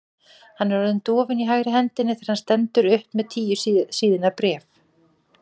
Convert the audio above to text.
Hann er orðinn dofinn í hægri hendinni þegar hann stendur upp með tíu síðna bréf.